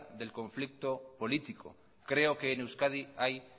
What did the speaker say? del conflicto político creo que en euskadi hay